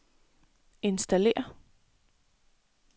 installér